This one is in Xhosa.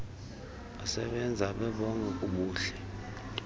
besebenza bebonke kubuhle